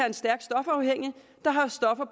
en stærkt stofafhængig der har stoffer